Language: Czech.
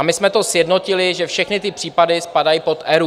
A my jsme to sjednotili, že všechny ty případy spadají pod ERÚ.